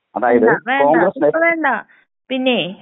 അതായത് കോൺഗ്രസിന് *നോട്ട്‌ ക്ലിയർ*.